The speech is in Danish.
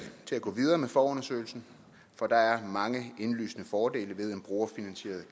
til at gå videre med forundersøgelsen for der er mange indlysende fordele ved en brugerfinansieret